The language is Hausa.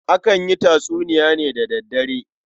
Akan yi tatsuniya ne da daddare.